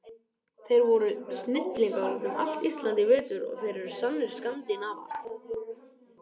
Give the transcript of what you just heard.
Þeir voru snillingar út um allt Ísland í vetur og þeir eru sannir Skandinavar.